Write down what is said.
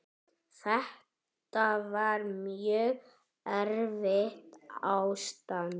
Þetta var mjög erfitt ástand.